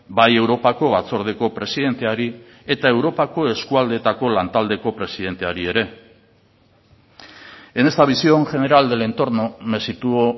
bai europako batzordeko presidenteari eta europako eskualdeetako lantaldeko presidenteari ere en esta visión general del entorno me sitúo